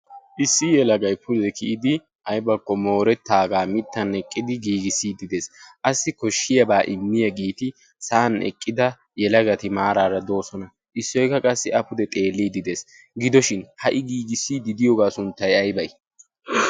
issi yelagay pude kiyidi aybakko moorettaagaa mittan eqqidi giigissiiddidees qassi koshshiyaabaa immiya giiti sa'an eqqida yelagati maaraara doosona issoikka qassi a pude xeelliidi dees gidoshin ha''i giigissii didiyoogaa sunttay aybay